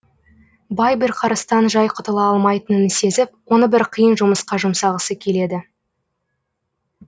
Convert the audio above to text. бай бірқарыстан жай құтыла алмайтынын сезіп оны бір қиын жұмысқа жұмсағысы келеді